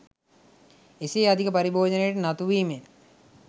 එසේ අධික පාරිභෝජනයට නතුවීමෙන්